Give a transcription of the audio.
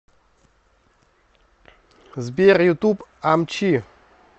сбер ютуб амчи